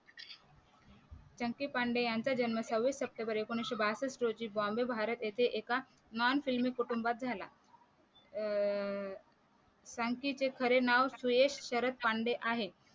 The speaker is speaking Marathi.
चंकी पांडे यांचा जन्म सव्वीस सप्टेंबर एकोणीशे बासठ रोजी बॉम्बे भारत इथे एका नॉन फिल्मी कुटुंबात झाला अं चंकीचे खरं नाव सुयेश शरद पांडे आहे